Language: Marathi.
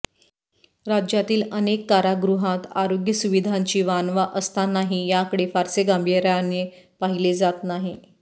राज्यातील अनेक कारागृहांत आरोग्य सुविधांची वानवा असतानाही याकडे फारसे गांभीर्याने पाहिले जात नाही